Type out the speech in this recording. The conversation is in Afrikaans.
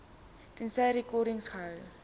tensy rekords gehou